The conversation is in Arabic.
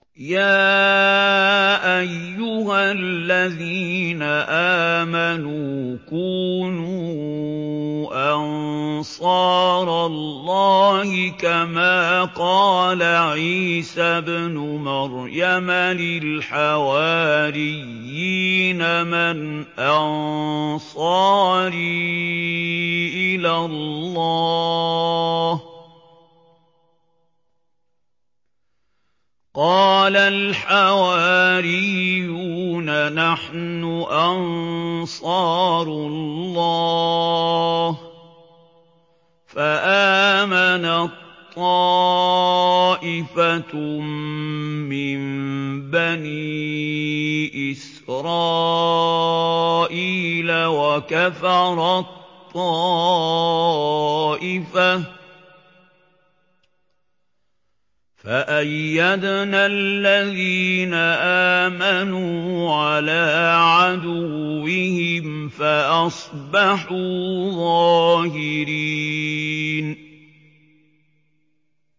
يَا أَيُّهَا الَّذِينَ آمَنُوا كُونُوا أَنصَارَ اللَّهِ كَمَا قَالَ عِيسَى ابْنُ مَرْيَمَ لِلْحَوَارِيِّينَ مَنْ أَنصَارِي إِلَى اللَّهِ ۖ قَالَ الْحَوَارِيُّونَ نَحْنُ أَنصَارُ اللَّهِ ۖ فَآمَنَت طَّائِفَةٌ مِّن بَنِي إِسْرَائِيلَ وَكَفَرَت طَّائِفَةٌ ۖ فَأَيَّدْنَا الَّذِينَ آمَنُوا عَلَىٰ عَدُوِّهِمْ فَأَصْبَحُوا ظَاهِرِينَ